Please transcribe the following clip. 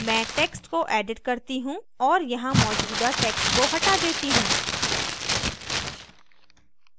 मैं text को edit करती हूँ और यहाँ मौजूदा text को हटा देती हूँ